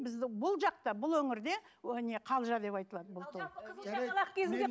бізде бұл жақта бұл өңірде ы не қалжа деп айтылады бұл той